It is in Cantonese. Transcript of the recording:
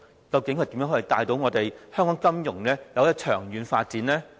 究竟他如何帶領香港金融長遠發展呢？